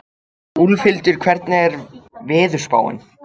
Úlfhildur, hvernig er veðurspáin?